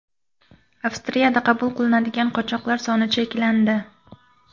Avstriyada qabul qilinadigan qochoqlar soni cheklandi.